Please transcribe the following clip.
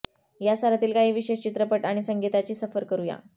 या सालातील काही विशेष चित्रपट आणि संगीता ची सफर करू या